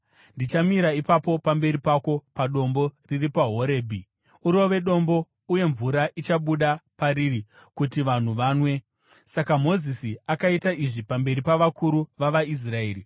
Ndichamira ipapo pamberi pako padombo riri paHorebhi. Urove dombo, uye mvura ichabuda pariri, kuti vanhu vanwe.” Saka Mozisi akaita izvi pamberi pavakuru vavaIsraeri.